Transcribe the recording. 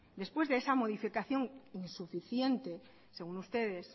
después de esa modificación insuficiente según ustedes